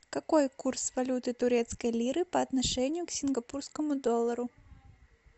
какой курс валюты турецкой лиры по отношению к сингапурскому доллару